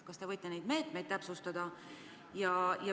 Kas te võite neid meetmeid täpsustada?